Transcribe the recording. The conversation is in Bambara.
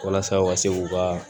Walasa u ka se k'u ka